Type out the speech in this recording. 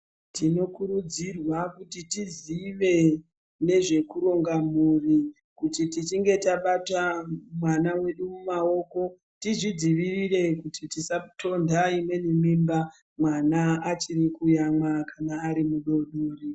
Tinokurudzirwa kuti tizive nezvekuronga mhuri kuti tichinge tabata mwana wedu mumaoko tizvidzivirire kuti tisatonda imweni mimba mwana kana achiri kuyamwa arimudodori.